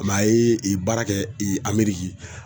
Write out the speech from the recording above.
a ye baara kɛ Ameriki